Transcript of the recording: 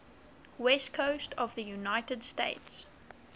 west coast of the united states